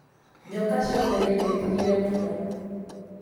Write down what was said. Nyoka ciothe nĩnjĩtigire mũno